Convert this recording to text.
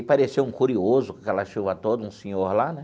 Aí apareceu um curioso com aquela chuva toda, um senhor lá, né?